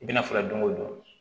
I bɛna fura don o don